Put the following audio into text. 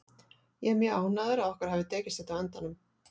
Ég er mjög ánægður að okkur hafi tekist þetta á endanum.